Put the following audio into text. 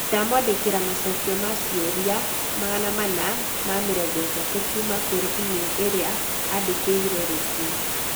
Ndamwandĩkĩra macokio ma ciũria 430 kuuma kũrĩ e-mail ĩrĩa aandĩkĩire rũciũ.